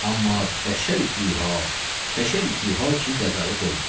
Amma bəşər itihi ha, bəşər itihi ha ki, qəzaya qoymayasan.